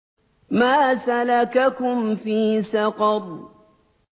مَا سَلَكَكُمْ فِي سَقَرَ